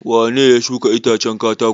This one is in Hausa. Wane ne ya shuka itacen katako?